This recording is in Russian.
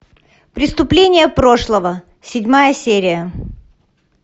преступления прошлого седьмая серия